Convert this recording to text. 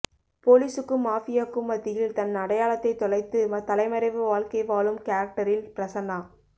போலீசுக்கும் மாஃபியாவுக்கும் மத்தியில் தன் அடையாளத்தைத் தொலைத்துத் தலைமறைவு வாழ்க்கை வாழும் கேரக்டரில் பிரசன்னா